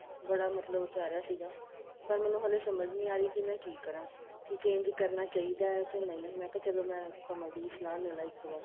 ਬੜਾ ਮਤਲਬ ਕਹਿ ਰਹਿਆ ਸੀਗਾ ਪਰ ਮੈਨੂੰ ਹਲੇ ਸਮਝ ਨਹੀਂ ਆ ਰਹੀ ਮੈਂ ਕੀ ਕਰਾ ਕੀ change ਕਰਨਾ ਚਾਹੀਦਾ ਕੇ ਨਹੀਂ ਮੈਂ ਕਿਹਾ ਚਲੋਂ ਮੈਂ ਕਮਲ ਦੀ ਸਲਾਹ ਲੈਲਾ ਇੱਕ ਵਾਰ